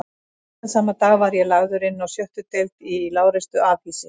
Seinna sama dag var ég lagður inná sjöttu deild í lágreistu afhýsi